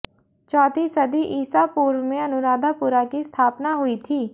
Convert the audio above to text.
चौथी सदी ईसा पूर्व में अनुराधापुरा की स्थापना हुई थी